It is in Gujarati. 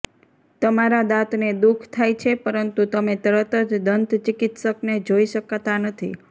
તમારા દાંતને દુઃખ થાય છે પરંતુ તમે તરત જ દંત ચિકિત્સકને જોઈ શકતા નથી